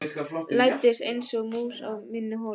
Læddist einsog mús í mína holu.